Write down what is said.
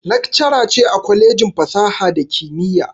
Laccara ce a kwalejin fasaha da kimiyya